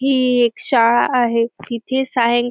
हि एक शाळा आहे तिथे सायं--